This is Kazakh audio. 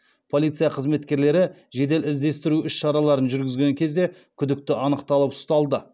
полиция қызметкерлері жедел іздестіру іс шараларын жүргізген кезде күдікті анықталып ұсталды